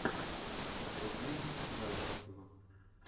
вруби раймств